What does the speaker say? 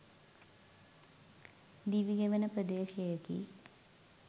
දිවි ගෙවන ප්‍රදේශයකි.